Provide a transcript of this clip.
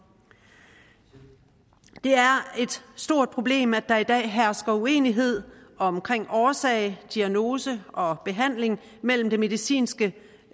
det er et stort problem at der i dag hersker uenighed om årsag diagnose og behandling mellem det medicinske